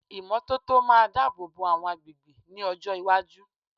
Ìmọ́tótó máa dábòbò àwọn agbègbè ní ọjọ́ iwájú.